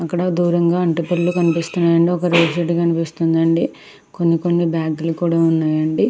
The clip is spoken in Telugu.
ఆక్కడ దూరంగా అంటుపల్లి కనిపిస్తున్నాయండీ. ఒక రేగి చెట్టు కనిపిస్తుందండి. కొన్నికొన్ని బ్యాగు లు కూడా ఉన్నాయండి.